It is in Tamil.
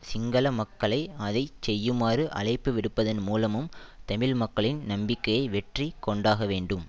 சிங்கள மக்களை அதை செய்யுமாறு அழைப்பு விடுப்பதன் மூலமும் தமிழ் மக்களின் நம்பிக்கையை வெற்றி கொண்டாக வேண்டும்